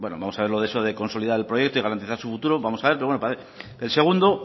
bueno vamos a ver eso de consolidar el proyecto y garantizar su futuro vamos a verlo el segundo